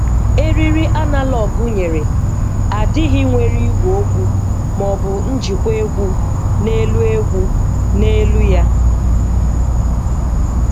Eriri analog nyere adịghị nwere igwe okwu ma ọ bụ njikwa egwu na elu egwu na elu ya.